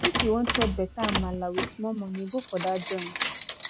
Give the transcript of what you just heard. if you wan chop beta amala wit small monie go for dat joint